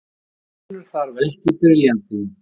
Minn vinur þarf ekki briljantín.